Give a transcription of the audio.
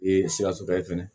siratigɛ ye fɛnɛ